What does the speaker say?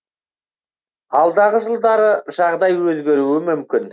алдағы жылдары жағдай өзгеруі мүмкін